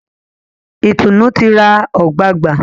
Itunu tí rá ogbagba.